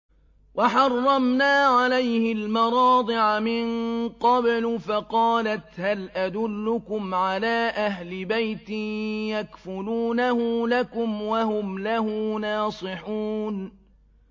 ۞ وَحَرَّمْنَا عَلَيْهِ الْمَرَاضِعَ مِن قَبْلُ فَقَالَتْ هَلْ أَدُلُّكُمْ عَلَىٰ أَهْلِ بَيْتٍ يَكْفُلُونَهُ لَكُمْ وَهُمْ لَهُ نَاصِحُونَ